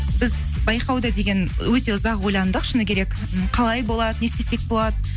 біз байқауды деген өте ұзақ ойландық шыны керек м қалай болады не істесек болады